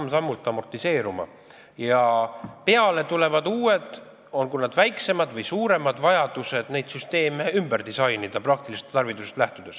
Ja praktilisest tarvidusest lähtudes tulevad peale uued, olgu väiksemad või suuremad vajadused neid süsteeme ümber disainida.